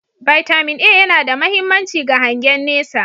"Vitamin A" yana da mahimmanci ga hangen nesa